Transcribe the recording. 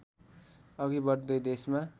अघि बढ्दै देशमा